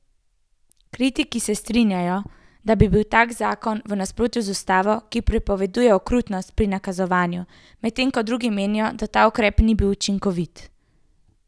Kritiki se strinjajo, da bi bil tak zakon v nasprotju z ustavo, ki prepoveduje okrutnost pri kaznovanju, medtem ko drugi menijo, da ta ukrep ne bi bil učinkovit.